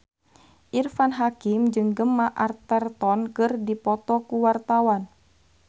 Irfan Hakim jeung Gemma Arterton keur dipoto ku wartawan